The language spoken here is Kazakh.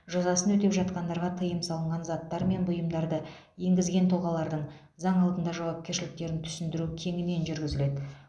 жазасын өтеп жатқандарға тыйым салынған заттар мен бұйымдарды енгізген тұлғалардың заң алдында жауапкершіліктерін түсіндіру кеңінен жүргізіледі